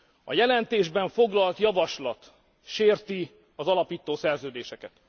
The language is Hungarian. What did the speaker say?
A jelentésben foglalt javaslat sérti az alapító szerződéseket.